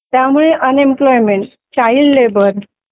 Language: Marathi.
त्यामुळे अन एम्प्लॉयमेंट चाइल्ड लेबर